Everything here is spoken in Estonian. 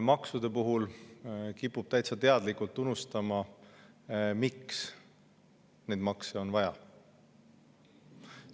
Maksude puhul kiputakse täitsa teadlikult unustama, miks makse on vaja.